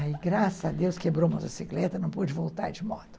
Aí, graças a Deus, quebrou a motocicleta, não pude voltar de moto.